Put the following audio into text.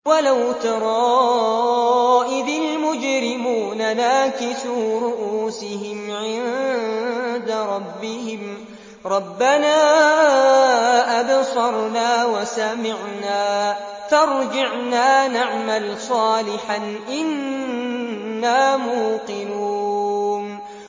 وَلَوْ تَرَىٰ إِذِ الْمُجْرِمُونَ نَاكِسُو رُءُوسِهِمْ عِندَ رَبِّهِمْ رَبَّنَا أَبْصَرْنَا وَسَمِعْنَا فَارْجِعْنَا نَعْمَلْ صَالِحًا إِنَّا مُوقِنُونَ